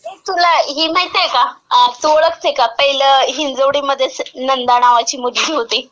ए तुला ही माहितीय का? तू ओळखते का पहिलं हिंजवडीमध्ये नंदा नावाची मुलगी होती.